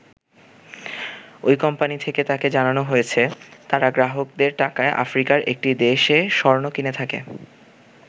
ওই কোম্পানী থেকে তাকে জানানো হয়েছে, তারা গ্রাহকদের টাকায় আফ্রিকার একটি দেশে স্বর্ণ কিনে থাকে।